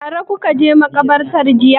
Tare kuka je maƙabarta jiya.